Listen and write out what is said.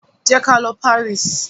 Ję kalọ Paris!